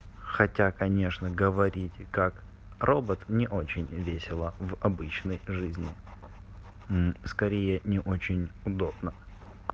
хотя конечно говорите как робот не очень весело в обычной жизни скорее не очень удобно